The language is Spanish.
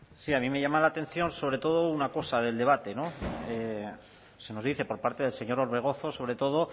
sí a mí me llama la atención sobre todo una cosa del debate se nos dice por parte del señor orbegozo sobre todo